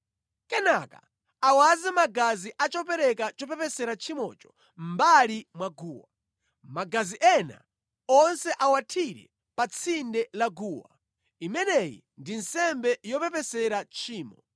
kenaka awaze magazi a chopereka chopepesera tchimocho mʼmbali mwa guwa. Magazi ena onse awathire pa tsinde la guwa. Imeneyi ndi nsembe yopepesera tchimo.